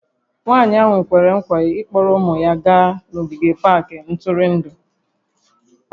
Nwanyị ahụ kwere nkwa ịkpọrọ ụmụ ya gaa n'ogige pak ntụrụndụ